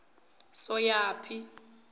soyaphi